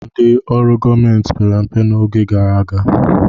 Ndị ọrụ gọọmenti pere mpe n'oge gara aga.